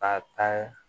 K'a ta